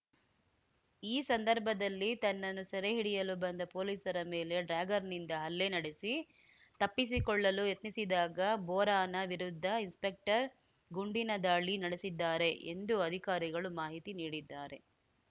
ಈ ಸಂದರ್ಭದಲ್ಲಿ ತನ್ನನ್ನು ಸೆರೆ ಹಿಡಿಯಲು ಬಂದ ಪೊಲೀಸರ ಮೇಲೆ ಡ್ಯಾಗರ್‌ನಿಂದ ಹಲ್ಲೆ ನಡೆಸಿ ತಪ್ಪಿಸಿಕೊಳ್ಳಲು ಯತ್ನಿಸಿದಾಗ ಬೋರಾನ ವಿರುದ್ಧ ಇನ್ಸ್‌ಪೆಕ್ಟರ್‌ ಗುಂಡಿನ ದಾಳಿ ನಡೆಸಿದ್ದಾರೆ ಎಂದು ಅಧಿಕಾರಿಗಳು ಮಾಹಿತಿ ನೀಡಿದ್ದಾರೆ